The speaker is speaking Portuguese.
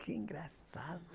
Que engraçado.